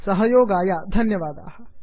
सहयोगाय धन्यवादाः